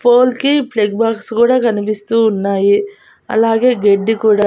Pole కి plug box కూడా కనిపిస్తూ ఉన్నాయి అలాగే గెడ్డి కూడా.